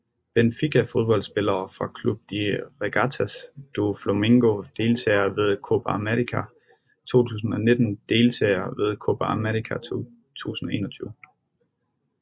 Benfica Fodboldspillere fra Clube de Regatas do Flamengo Deltagere ved Copa América 2019 Deltagere ved Copa América 2021